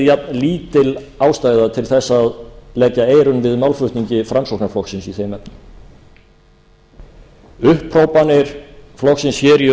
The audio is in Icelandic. jafnlítil ástæða til að leggja eyrun við málflutningi framsóknarflokksins í þeim efnum upphrópanir flokksins í